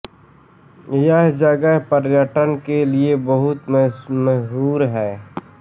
यह जगह पर्यटन के लिये बहुत मशहूर है